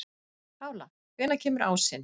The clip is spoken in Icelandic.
Pála, hvenær kemur ásinn?